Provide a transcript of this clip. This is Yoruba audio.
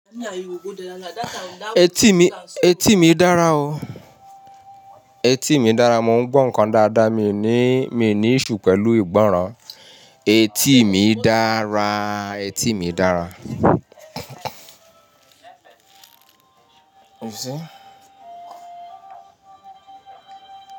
Etí mi, etí mi dára o. Etí mi dára, mo ń gbọ́ nǹkan dáadáa, mi ní, mi ní iṣu pẹ̀lú ìgbọ́ràn. Etí mi dára, etí mi dára. You see?